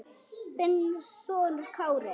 Þinn sonur Kári.